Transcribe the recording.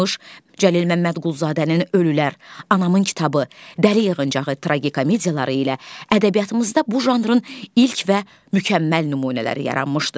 Cəlil Məmmədquluzadənin "Ölülər", "Anamın kitabı", "Dəli yığıncağı" tragikomediyaları ilə ədəbiyyatımızda bu janrın ilk və mükəmməl nümunələri yaranmışdır.